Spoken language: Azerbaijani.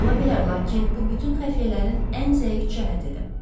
Ola bilər, lakin bu bütün xəfiyyələrin ən zəif cəhətidir.